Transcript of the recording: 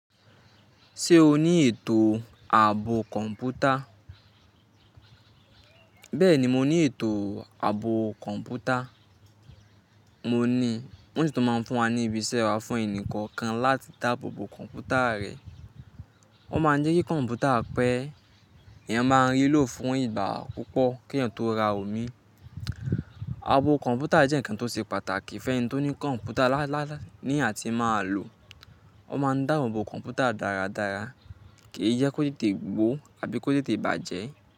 Ṣé o ní ètò ààbò kọ̀m̀pútà? Bẹ́ẹ̀ni mo ní ètò ààbò kọ̀m̀pútà. Mo ní, wọ́n si tun máa ń fún wa ní ibi iṣẹ́ wa fún ẹnì kọ̀ọ̀kan láti dáàbò bo kọ̀m̀pútà rẹ̀. Wọ́n máa ń jẹ́ kí kọ̀m̀pútà pẹ́, èèyàn máa rí i lò fún ìgbà púpọ̀ kí èèyàn tó ra o mii. Ààbò kọ̀m̀pútà jẹ́ ǹkan tó ṣe pàtàkì fún ẹni tó ní kọ̀m̀pútà ní ati máa lò. Ó máa ń dáàbò bo kọ̀m̀pútà dáradára kí í jẹ́ kó tètè gbó àbí kó tètè bàjẹ́